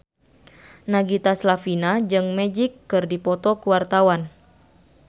Nagita Slavina jeung Magic keur dipoto ku wartawan